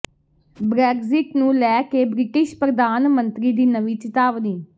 Brexit ਨੂੰ ਲੈ ਕੇ ਬ੍ਰਿਟਿਸ਼ ਪ੍ਰਧਾਨ ਮੰਤਰੀ ਦੀ ਨਵੀਂ ਚਿਤਾਵਨੀ